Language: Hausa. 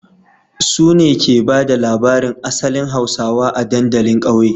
Su ne ke ba da labarin asalin hausawa a dandalin kauye